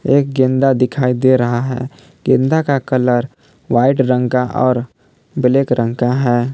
एक गेंदा दिखाई दे रहा है गेंदा का कलर वाइट रंग का और ब्लैक रंग का है।